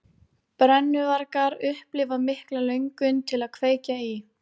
Brennuvargar upplifa mikla löngun til að kveikja í.